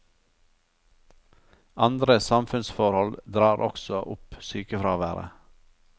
Andre samfunnsforhold drar også opp sykefraværet.